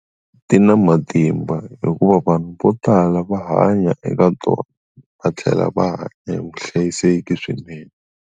Ti na matimba hikuva vanhu vo tala va hanya eka tona va tlhela va hanya hi vuhlayiseki swinene.